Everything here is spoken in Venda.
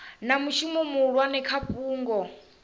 na mushumo muhulwane kha fhungo